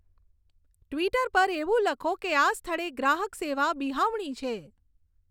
Twitter પર એવું લખો કે આ સ્થળે ગ્રાહક સેવા બિહામણી છે